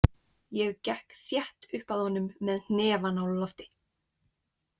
Ég gekk þétt upp að honum með hnefann á lofti.